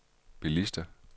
bilister